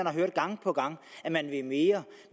har hørt gang på gang at man vil mere